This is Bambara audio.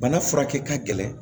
Bana furakɛ ka gɛlɛn